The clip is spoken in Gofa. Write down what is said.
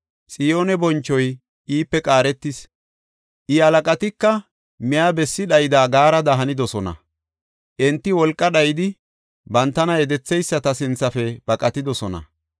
Xiyooni bonchoy iipe qaaretis; I, halaqatika miya bessi dhayida gaarada hanidosona; Enti wolqa dhayidi bantana yedetheyisata sinthafe baqatidosona.